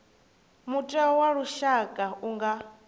mutheo wa lushaka u nga